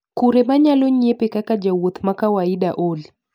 Kure manyalo nyiepe kaka jawuoth makawaida olly